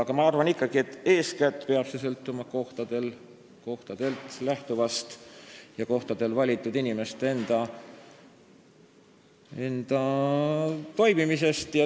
Aga ma arvan ikkagi, et eeskätt peab see sõltuma kohtadel toimuvast tegevusest ja kohtadel valitud inimeste enda toimimisest.